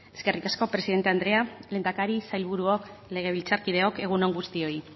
eskerrik asko presidente andrea lehendakari sailburuok legebiltzarkideok egun on guztioi